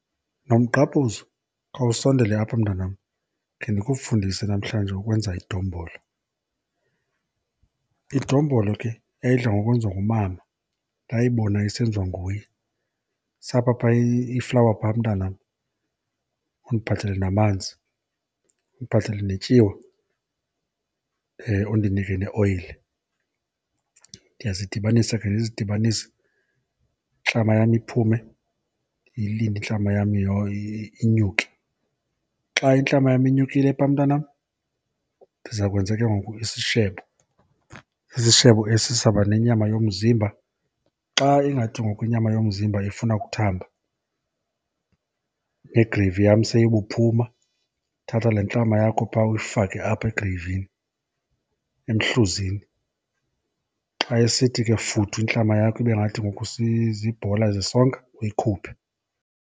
Nomgqabhuzo, khawusondele apha mntanam khe ndikufundise namhlanje ukwenza idombolo. Idombolo ke yayidla ngokwenziwa ngumama, ndayibona isenziwa nguye. Sapha pha iflawa pha mntanam, undiphathele namanzi, undiphathele netyiwa, undinike neoyile. Ndiyazidibanisa ke ndizidibanise, intlama yam iphume. Ndiyilinde intlama yam inyuke. Xa intlama yam inyukile phaa mntanam, ndiza kwenza ke ngoku isishebo. Isishebo esi sizawuba nenyama yomzimba. Xa ingathi ngoku inyama yomzimba ifuna ukuthamba negreyivi yam seyibuphuma, thatha le ntlama yakho pha uyifake apha egreyivini, emhluzini. Xa isithi ke futhu intlama yakho ibe ngathi ke ngoku zibhola zesonka uyikhuphe.